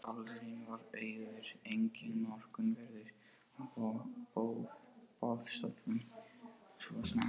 Salurinn var auður, enginn morgunverður á boðstólum svo snemma.